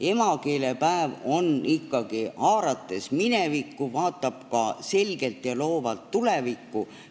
Emakeelepäev ikkagi, haarates minevikku, vaatab ka selgelt ja loovalt tulevikku.